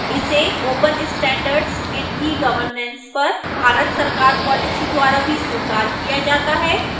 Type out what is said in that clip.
इसे open standards in egovernance पर भारत सरकार policy द्वारा भी स्वीकार किया जाता है